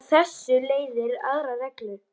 Af þessu leiðir aðra reglu